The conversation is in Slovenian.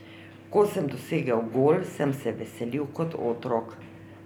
Ko sem dosegel gol, sem se veselil kot otrok.